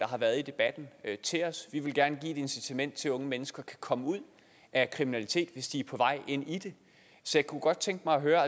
har været i debatten til os vi vil gerne give et incitament til at unge mennesker kan komme ud af kriminalitet hvis de er på vej ind i det så jeg kunne godt tænke mig at høre